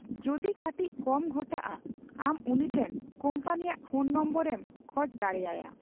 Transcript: ᱡᱚᱫᱤ ᱠᱟᱹᱴᱤᱪ ᱠᱚᱢ ᱜᱷᱚᱴᱟᱜᱼᱟ, ᱟᱢ ᱩᱱᱤ ᱴᱷᱮᱱ ᱠᱳᱢᱯᱟᱱᱤ ᱟᱜ ᱯᱷᱳᱱ ᱱᱚᱝᱵᱚᱨ ᱮᱢ ᱠᱷᱚᱡ ᱫᱟᱲᱮᱼᱟᱭᱟ᱾